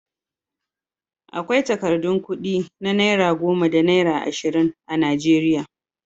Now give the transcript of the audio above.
Akwai takardun kuɗi na naira goma da naira ashirin a Najeriya.